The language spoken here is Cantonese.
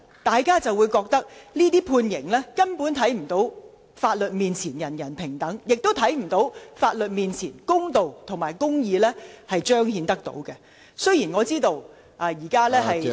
大家都覺得這些判刑根本無法彰顯"法律面前，人人平等"的原則，亦無法令人相信在法律面前可以彰顯公道和公義。